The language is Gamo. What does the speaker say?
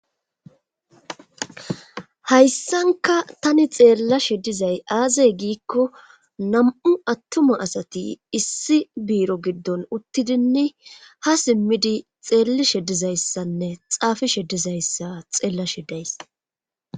hayssanka tani xeellashe dizay aazey giikko nam7u attuma asati issi biiro giddon uttidinni ha simmidi xeellishe dizayssanne xaafishe dizayssa xeellashe days